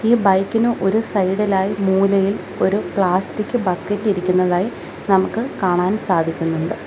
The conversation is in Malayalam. ഈ ബൈക്കിന് ഒരു സൈഡിലായി മൂലയിൽ ഒരു പ്ലാസ്റ്റിക് ബക്കറ്റ് ഇരിക്കുന്നതായി നമുക്ക് കാണാൻ സാധിക്കുന്നുണ്ട്.